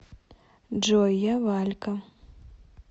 джой я валька